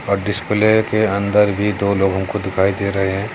और डिस्प्ले के अंदर भी दो लोगों को दिखाई दे रहे है।